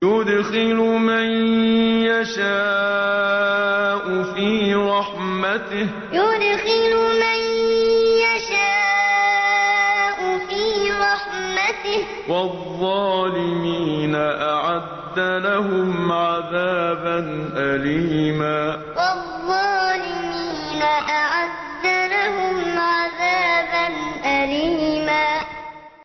يُدْخِلُ مَن يَشَاءُ فِي رَحْمَتِهِ ۚ وَالظَّالِمِينَ أَعَدَّ لَهُمْ عَذَابًا أَلِيمًا يُدْخِلُ مَن يَشَاءُ فِي رَحْمَتِهِ ۚ وَالظَّالِمِينَ أَعَدَّ لَهُمْ عَذَابًا أَلِيمًا